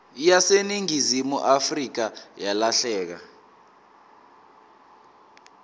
yaseningizimu afrika yalahleka